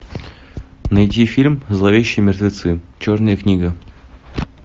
найди фильм зловещие мертвецы черная книга